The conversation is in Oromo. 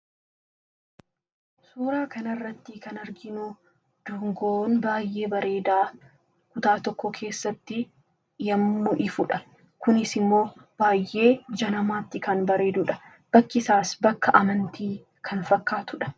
Suuraa kana irratti kan arginu dungoo bareedaa kutaa tokko keessatti yommuu ifudha. Kunis immoo baay'ee ija namaatti kan bareedudha. Bakki isaas bakka amantii kan fakkaatudha.